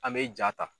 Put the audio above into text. An bɛ ja ta